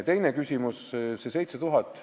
Teine küsimus, see 7000.